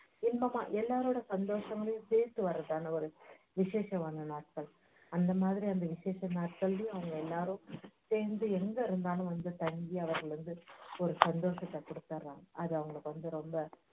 இன்பமா எல்லோருடைய சந்தோஷங்கலையும் சேர்த்து வர்றதுதான ஒரு விஷேசமான நாட்கள் அந்த மாதிரி அந்த விஷேச நாட்களிலேயும் அவ்ட்ங்க எல்லாரும் சேர்ந்து எங்க இருந்தாலும் தங்கி அவர்கள் வந்து ஒரு சந்தோஷத்தைக் கொடுத்தர்றாங்க அது அவங்களுக்கு ரொம்ப